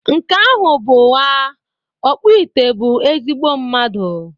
Nke ahụ bụ ụgha, ọkpụite bụ ezigbo mmadụ